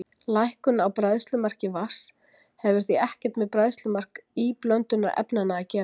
Lækkun á bræðslumarki vatns hefur því ekkert með bræðslumark íblöndunarefnanna að gera.